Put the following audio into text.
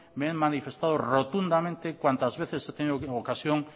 me he manifestado rotundamente cuantas veces he tenido ocasión